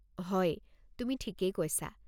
হয়, তুমি ঠিকেই কৈছা।